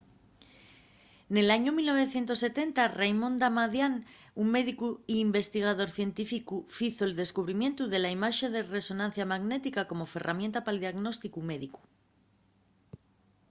nel añu 1970 raymond damadian un médicu y investigador científicu fizo’l descubrimientu de la imaxe de resonancia magnética como ferramienta pal diagnósticu médicu